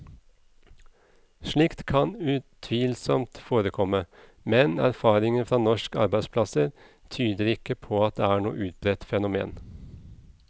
Slikt kan utvilsomt forekomme, men erfaringen fra norske arbeidsplasser tyder ikke på at det er noe utbredt fenomen.